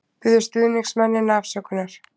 Biður stuðningsmennina afsökunar